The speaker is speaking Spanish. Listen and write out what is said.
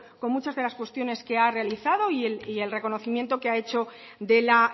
con muchas de las cuestiones que ha realizado y el reconocimiento que ha hecho de la